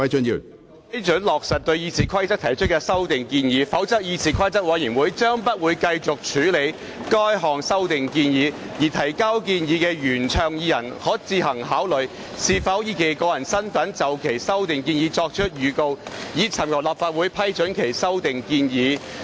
批准落實對《議事規則》的修訂建議，否則議事規則委員會將不會繼續處理該項修訂建議，而原倡議人可自行考慮是否以個人身份就其修訂建議作出預告，尋求立法會主席批准提出修訂建議。